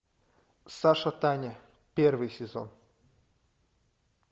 саша таня первый сезон